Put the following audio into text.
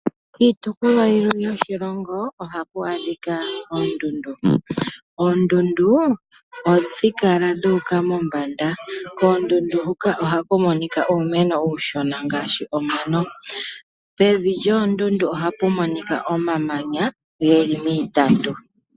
Kiitukulwa yilwe yoshilongo ohaku adhika oondundu. Oondundu ohadhi kala dhuuka mombanda, koondundu huka ohaku monika uumeno uushona ngaashi omano , pevi lyoondundu ohapu monika omamanya geli miitandu.